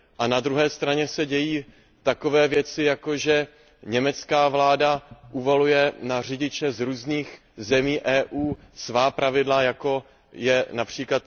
Na druhé straně se dějí takové věci, jako že německá vláda uvaluje na řidiče z různých zemí EU svá pravidla, jako je např.